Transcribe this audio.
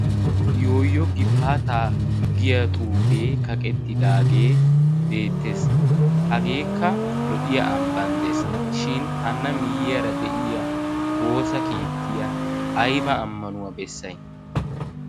yooyo gifaata giya xuufee kaqettidaagee beettees hageekka lo''iya ambbanddees shin hana miyyiyaara de'iya woosa keettiya ayba ammanuwaa bessay